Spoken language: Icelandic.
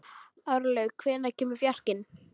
Árlaug, hvenær kemur fjarkinn?